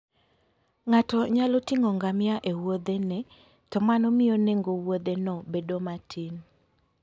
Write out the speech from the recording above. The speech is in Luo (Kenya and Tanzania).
Ng'ato nyalo ting'o ngamia e Wuothene, to mano miyo nengo Wuotheno bedo matin.